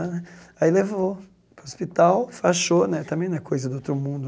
Aí levou para o hospital, enfaixou né, também não é coisa do outro mundo.